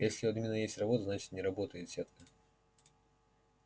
если у админа есть работа значит не работает сетка